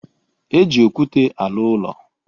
E ji okwute arụ ụlọ.